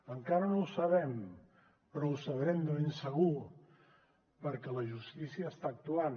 encara no ho sabem però ho sabrem de ben segur perquè la justícia està actuant